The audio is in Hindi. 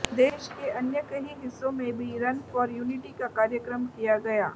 देश के अन्य कई हिस्सों में भी रन फॉर यूनिटी का कार्यक्रम किया गया